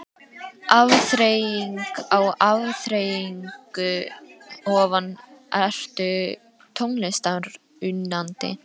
Afþreying á afþreyingu ofan Ertu tónlistarunnandi?